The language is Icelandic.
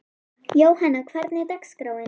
Jóanna, hvernig er dagskráin?